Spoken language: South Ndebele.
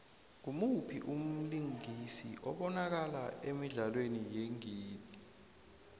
ngumuphi umlingisi obanakala emidlalweni yeengidi